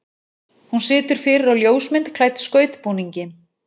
Hún situr fyrir á ljósmynd klædd skautbúningi.